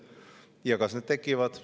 Ja kas need tekivad?